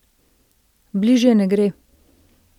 Bližje ne gre.